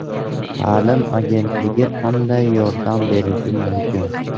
Ta’lim agentligi qanday yordam berishi mumkin?